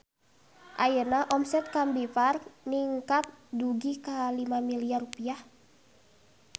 Ayeuna omset Combiphar ningkat dugi ka 5 miliar rupiah